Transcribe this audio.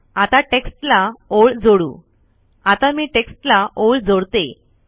आता टेक्स्ट ला ओळ जोडू आता मी टेक्स्टला ओळ जोडते